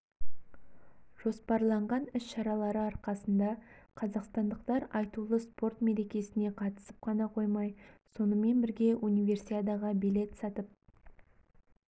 жоспарлаған іс-шаралары арқасында қазақстандықтар айтулы спорт мерекесіне қатысып қана қоймай сонымен бірге универсиадаға билет сатып